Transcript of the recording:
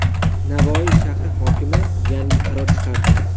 Navoiy shahri hokimi yangi qaror chiqardi.